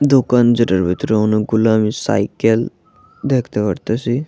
দোকান যেটার ভেতরে অনেকগুলো আমি সাইকেল দেখতে পারতাসি।